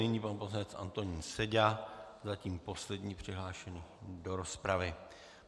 Nyní pan poslanec Antonín Seďa, zatím poslední přihlášený do rozpravy.